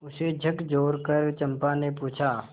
उसे झकझोरकर चंपा ने पूछा